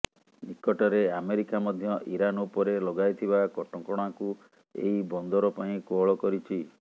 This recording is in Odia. ନିକଟରେ ଆମେରିକା ମଧ୍ୟ ଇରାନ ଉପରେ ଲଗାଇଥିବା କଟକଣାକୁ ଏହି ବନ୍ଦର ପାଇଁ କୋହଳ କରିଛି